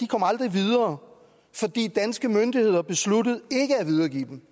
kom aldrig videre fordi danske myndigheder besluttede ikke at videregive dem